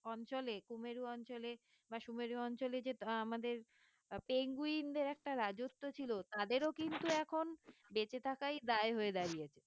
অঞ্চলে কুমের অঞ্চলে বা সুমেরু অঞ্চলে যে আহ আমাদের আহ penguin দের একটা রাজত্ব ছিল তাদেরও কিন্তু এখন বেঁচে থাকাই দায় হয়ে দাঁড়িয়েছে